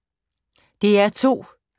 DR2